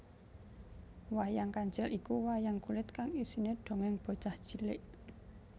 Wayang Kancil iku wayang kulit kang isine dongeng bocah cilik